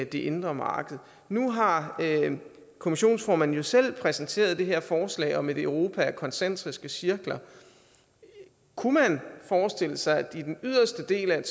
det indre marked nu har kommissionsformanden jo selv præsenteret det her forslag om et europa i koncentriske cirkler kunne man forestille sig at der i den yderste del af